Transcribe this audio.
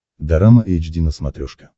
дорама эйч ди на смотрешке